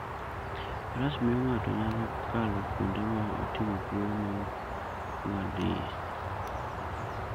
Faras miyo ng'ato nyalo kalo kuonde ma otimo kuoyo ma ok ong'ad iye.